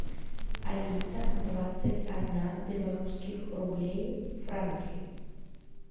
алиса двадцать одна белорусских рублей в франки